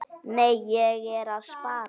Nei, ég er að spara.